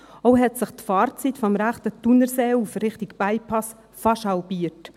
Auch hat sich die Fahrzeit vom rechten Thunerseeufer Richtung Bypass fast halbiert.